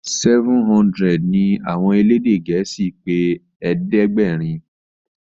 seven hundred ní àwọn elédè gèésì pé ẹ̀ẹ́dẹ̀gbẹ̀rin.